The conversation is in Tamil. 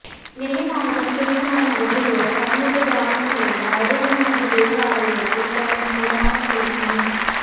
நெல்லை மாவட்டம் சேர்ந்தமரம் அருகேயுள்ள தன்னூத்து கிராமத்தில் உள்ள அருளானந்தர்தேவ ஆலயத்தில் கடந்த சில மாதங்களுக்கு முன்